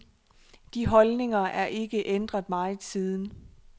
De holdninger er ikke ændret meget siden.